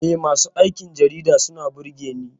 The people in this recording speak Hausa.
Eh, masu aikin jarida suna burge Ni.